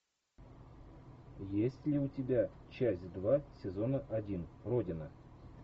есть ли у тебя часть два сезона один родина